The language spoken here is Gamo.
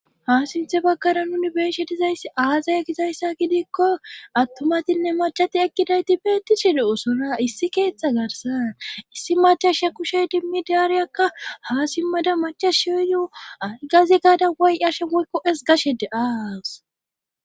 Ha sinthe baggara nuni beeshe dizayss aazaya gizayssa gidikko attumatinne macati ekkidayti beetti shede'usora issi keeththa garsan issi macashshe kushey dimmi daariyakka ha simmada machashsheyu ay gazi gaada woy'ashe woykko7es gashe de7aas